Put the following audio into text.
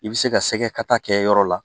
I bɛ se ka sɛgɛ kata kɛ yɔrɔ la